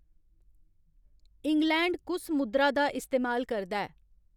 England कुस मुद्रा दा इस्तेमाल करदा ऐ